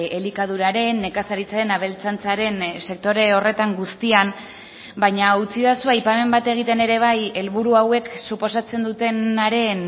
elikaduraren nekazaritzaren abeltzaintzaren sektore horretan guztian baina utzidazu aipamen bat egiten ere bai helburu hauek suposatzen dutenaren